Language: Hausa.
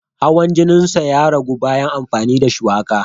Hawan jininsa ya ragu bayan amfani da shuwaka.